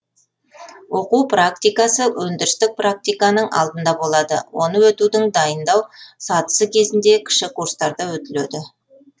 оқу практикасы өндірістік практиканың алдында болады оны өтудің дайындау сатысы кезінде кіші курстарда өтіледі